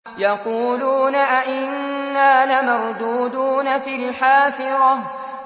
يَقُولُونَ أَإِنَّا لَمَرْدُودُونَ فِي الْحَافِرَةِ